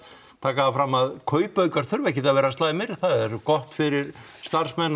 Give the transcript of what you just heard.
taka það fram að kaupaukar þurfa ekkert að vera slæmir það er gott fyrir starfsmenn